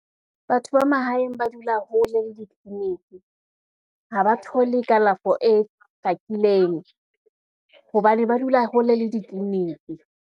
Batho ba mahaeng ba dula hole le ditliliniki, ha ba thole kalafo e hlakileng hobane ba dula hole le ditliliniki.